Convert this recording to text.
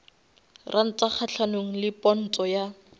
ranta kgahlanong le ponto ya